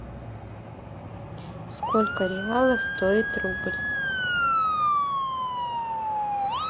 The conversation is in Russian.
сколько реалов стоит рубль